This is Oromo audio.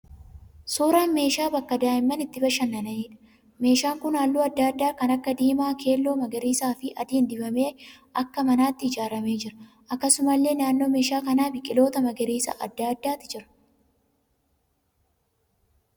Suuraa meeshaa bakka daa'imman itti bashannaniidha. Meeshaan kun halluu adda addaa kan akka diimaa, keelloo, magariisa fi adiin dibamee akka manaatti ijaaramee jira. Akkasumallee naannoo meeshaa kanaa biqiloota magariisa adda addaati jira.